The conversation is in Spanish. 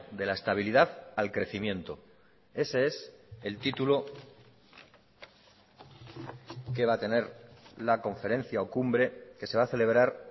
de la estabilidad al crecimiento ese es el título que va a tener la conferencia o cumbre que se va a celebrar